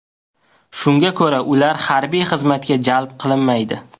Shunga ko‘ra, ular harbiy xizmatga jalb qilinmaydi.